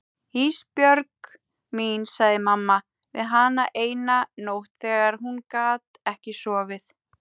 Ísbjörg mín, sagði mamma við hana eina nótt þegar hún gat ekki sofið.